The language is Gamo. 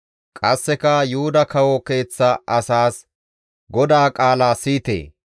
«Qasseka Yuhuda kawo keeththa asaas, ‹GODAA qaala siyite!